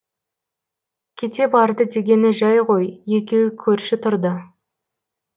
кете барды дегені жай ғой екеуі көрші тұрды